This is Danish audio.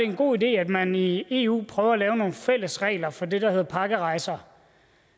en god idé at man i eu prøver at lave nogle fælles regler for det der hedder pakkerejser